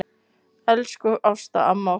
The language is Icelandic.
Elsku Ásta amma okkar.